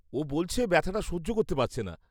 ও বলছে, ব্যথাটা সহ্য করতে পারছে না।